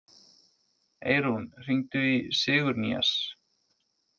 Eirún, hringdu í Sigurnýjas.